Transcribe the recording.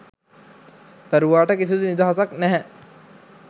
දරුවාට කිසිඳු නිදහසක් නැහැ.